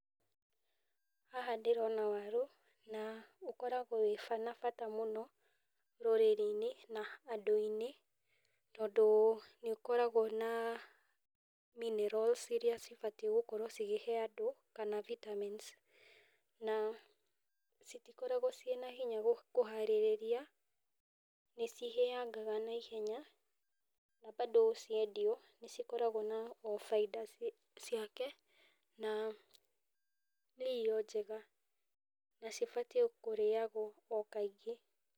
Haha ndĩrona waru, na ũkoragwo wĩna bata mũno rũrĩrĩ-inĩ na andũ-inĩ, tondũ nĩ ũkoragwo na minerals, iria cibatiĩ kũhe andũ kana vitamins na citikoragwo cina hinya kũharĩria, nĩ cihĩangaga na ihenya na bado ciendio nĩcikoragwo na bainda ciake, na nĩ irio njega, na cibatiĩ kũrĩagwo o kaingĩ.